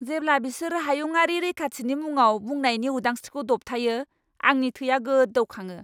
जेब्ला बिसोर हायुङारि रैखाथिनि मुङाव बुंनायनि उदांस्रिखौ दबथायो, आंनि थैआ गोदौखाङो।